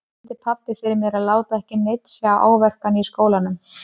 Eftir á brýndi pabbi fyrir mér að láta ekki neinn sjá áverkann í skólanum.